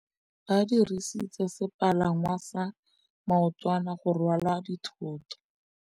Ba dirisitse sepalangwasa maotwana go rwala dithôtô.